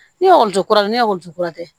Ne ye ekɔliden kura ye ne ye ekɔli kura ye dɛ